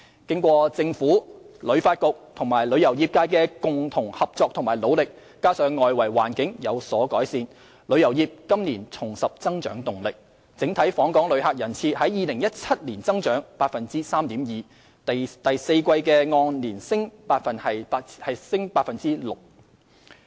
經過政府、香港旅遊發展局及旅遊業界的共同合作和努力，加上外圍環境有所改善，旅遊業今年重拾增長動力，整體訪港旅客人次於2017年增長 3.2%， 第四季按年升 6%。